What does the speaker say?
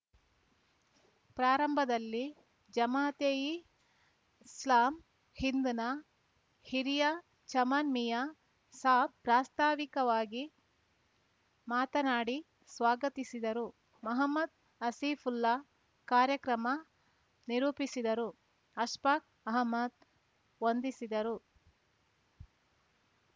ಪ್ರಾರಂಭದಲ್ಲಿ ಜಮಾತೇಯಿ ಇಸ್ಲಾಮ್‌ ಹಿಂದ್‌ನ ಹಿರಿಯ ಚಮನ್‌ ಮಿಯಾ ಸಾಬ್‌ ಪ್ರಾಸ್ತಾವಿಕವಾಗಿ ಮಾತನಾಡಿ ಸ್ವಾಗತಿಸಿದರು ಮಹಮ್ಮದ್‌ ಆಸಿಫುಲ್ಲಾ ಕಾರ್ಯಕ್ರಮ ನಿರೂಪಿಸಿದರು ಅಶ್ಫಾಕ್‌ ಅಹಮದ್‌ ವಂದಿಸಿದರು